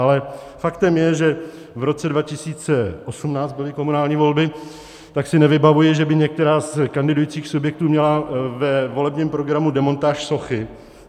Ale faktem je, že - v roce 2018 byly komunální volby - tak si nevybavuji, že by některý z kandidujících subjektů měl ve volebním programu demontáž sochy.